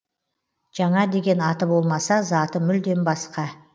жаңа деген аты болмаса заты мүлдем басқа